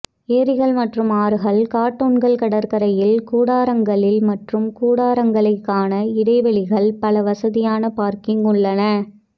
ஏரிகள் மற்றும் ஆறுகள் கார்ட்டூன்கள் கடற்கரையில் கூடாரங்களில் மற்றும் கூடாரங்களை க்கான இடைவெளிகள் பல வசதியான பார்க்கிங் உள்ளன